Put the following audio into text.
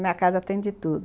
Minha casa tem de tudo.